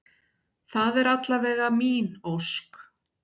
Það er alla vega mín ósk.